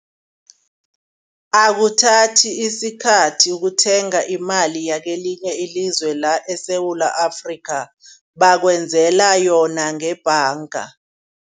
Akuthathi isikhathi ukuthenga imali yakwelinye ilizwe la esSewula Afrika bebakwenzela yona ngebhanga.